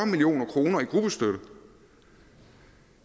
million kroner i gruppestøtte